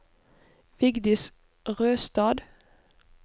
Vigdis Røstad